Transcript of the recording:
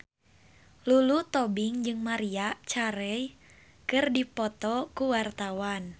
Lulu Tobing jeung Maria Carey keur dipoto ku wartawan